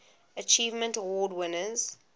achievement award winners